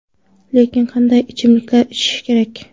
Lekin qanday ichimliklar ichish kerak?